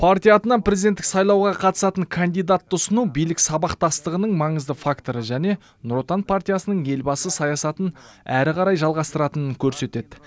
партия атынан президенттік сайлауға қатысатын кандидатты ұсыну билік сабақтастығының маңызды факторы және нұр отан партиясының елбасы саясатын әрі қарай жалғастыратынын көрсетеді